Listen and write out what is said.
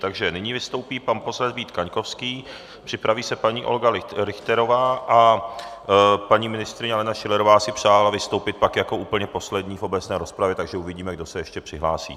Takže nyní vystoupí pan poslanec Vít Kaňkovský, připraví se paní Olga Richterová a paní ministryně Alena Schillerová si přála vystoupit pak jako úplně poslední v obecné rozpravě, takže uvidíme, kdo se ještě přihlásí.